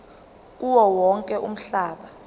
kuwo wonke umhlaba